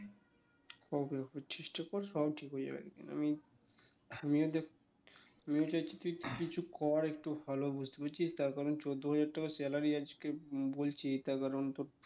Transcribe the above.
Okay okay চেষ্টা কর সব ঠিক হয়ে যাবে আমিও আমিও চাই যে তুই কিছু কর একটু ভালো বুঝতে পেরেছিস তার কারণ চোদ্দ হাজার টাকা salary আজকে বলছি তার কারণ তো,